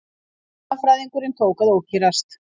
Fornleifafræðingurinn tók að ókyrrast.